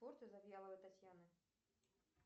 завьяловой татьяны